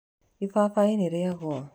Ibabaĩ nĩ rĩa gũa.